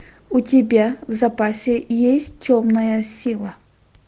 у тебя в запасе есть темная сила